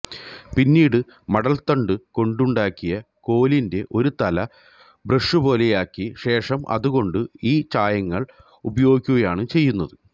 പിന്നീടു മട്ടൽത്തണ്ടുകൊണ്ടുണ്ടാക്കിയ കോലിന്റെ ഒരു തല ബ്രഷുപോലെയാക്കിശേഷം അതുകൊണ്ട് ഈ ചായങ്ങൾ ഉപയോഗിക്കുകയാണ് ചെയ്യുന്നത്